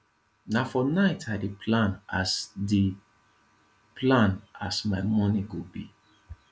na for night i dey plan as dey plan as my morning go be